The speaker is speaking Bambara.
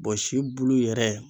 Bɔ si bulu yɛrɛ